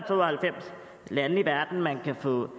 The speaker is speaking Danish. og halvfems lande i verden man kan få